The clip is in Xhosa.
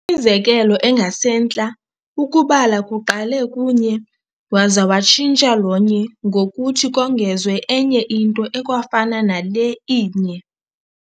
Imizekelo engasentla, ukubala kuqale ku-nye, waza watshintsha lo-nye ngokuthi kongezwe enye into ekwafana nale inye.